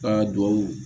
Aa duwawu